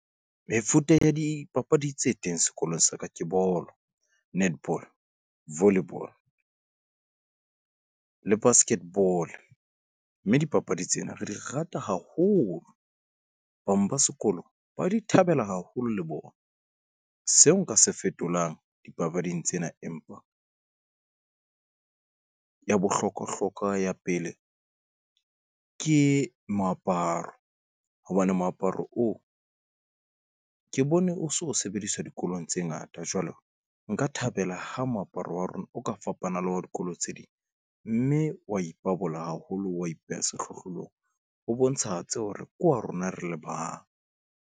Mefuta ya dipapadi tse teng sekolong sa ka ke bolo, netball, volleyball le basket ball, mme dipapadi tsena re di rata haholo. Bang ba sekolo ba di thabela haholo le bona. Seo nka se fetolang dipapading tsena empa ya bohlokwahlokwa ya pele ke moaparo. Hobane moaparo oo ke bone o so sebediswa dikolong tse ngata. Jwale nka thabela ha moaparo wa rona. O ka fapana le wa dikolo tse ding, mme wa ipabola haholo, wa ipeha sehlohlolong ho bontshahatse hore ke wa rona re le bang.